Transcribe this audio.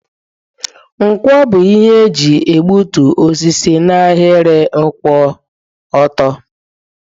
Nkwọ bụ ihe eji egbutu osisi n'ahịrị kwụ ọtọ.